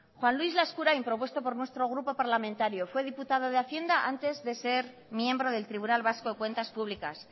juan luis laskurain propuesto por nuestro grupo parlamentario fue diputado de hacienda antes de ser miembro del tribunal vasco de cuentas públicas